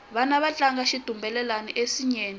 vana va tlanga xitumbelelani ensinyeni